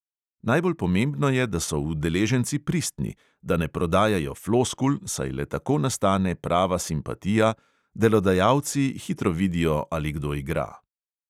Najbolj pomembno je, da so udeleženci pristni, da ne prodajajo floskul, saj le tako nastane prava simpatija, delodajalci hitro vidijo, ali kdo igra.